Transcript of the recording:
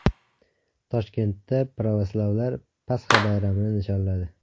Toshkentda pravoslavlar Pasxa bayramini nishonladi .